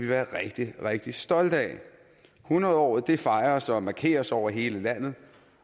være rigtig rigtig stolte af hundredåret fejres og markeres over hele landet